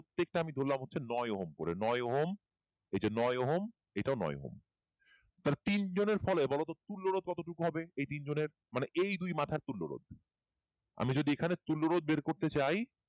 প্রত্যেকটা ধরলাম আমি হচ্ছে নয় ওহম করে নয় ওহম এই যে নয় হও এটাও নয় ওহম তাহলে তিনজনের ফলে বলতো তুল্য রোধ কতটুকু হবে এই তিনজনের মানে এই দুই মাথা তুলে রোধ । আমি যদি যদি এখানে তুল্য রোধ বের করতে চাই